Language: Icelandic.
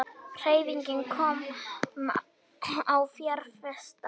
Hreyfing komin á fjárfesta